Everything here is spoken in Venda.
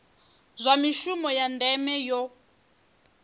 zwa mishumo ya ndeme yo